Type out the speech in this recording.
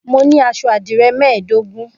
Mo ní aṣọ àdìrẹ́ mẹ́ẹ̀dógún.